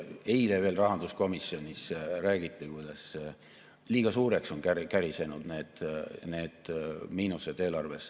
Eile veel rahanduskomisjonis räägiti, kuidas liiga suureks on kärisenud need miinused eelarves.